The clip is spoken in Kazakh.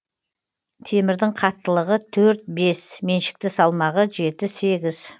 темірдің қаттылығы төрт бес меншікті салмағы жеті сегіз